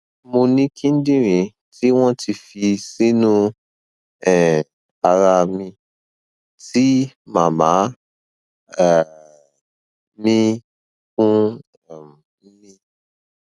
mo ní kíndìnrín tí wọn ti fi sínú um ara mi tí màmá um um mi fún um mi